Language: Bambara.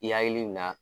I hakili bɛ na